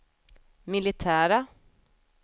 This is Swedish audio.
militära